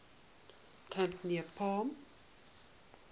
camp near palm